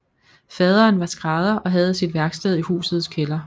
Faderen var skrædder og havde sit værksted i husets kælder